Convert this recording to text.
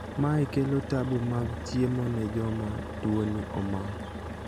mae kelo tabu mag chiemo ne joma tuoni omako